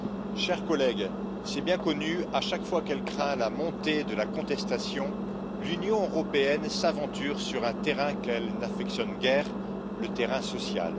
Madame la Présidente, chers collègues, c'est bien connu, à chaque fois qu'elle craint la montée de la contestation, l'Union européenne s'aventure sur un terrain qu'elle n'affectionne guère le terrain social.